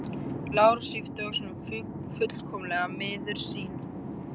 Lárus yppti öxlum, fullkomlega miður sín.